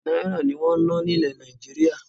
Náírà ní wọn ń ná ní ilé Nàìjíríà